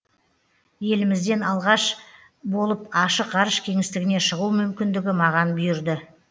елімізден алғаш болып ашық ғарыш кеңістігіне шығу мүмкіндігі маған бұйырды